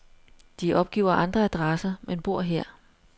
De opgiver andre adresser, men bor her.